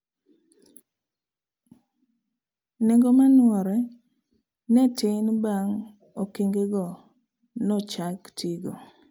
Nengo manuore ne tin bang' okenge go nochak tii go